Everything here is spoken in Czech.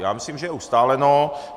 Já myslím, že je ustáleno.